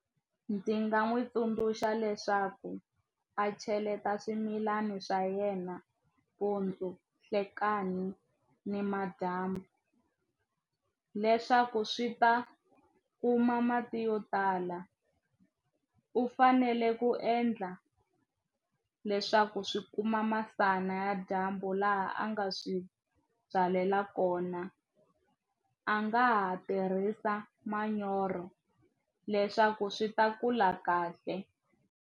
Ndzi nga n'wi tsundzuxa leswaku a cheleta swimilana swa yena mpundzu nhlekani ni madyambu leswaku swi ta kuma mati yo tala u fanele ku endla leswaku swi kuma masana ya dyambu laha a nga swi byalela kona a nga ha tirhisa manyoro leswaku swi ta kula kahle.